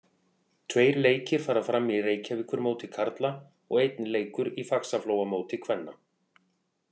Tveir leikir fara fram í Reykjavíkurmóti karla og einn leikur í Faxaflóamóti kvenna.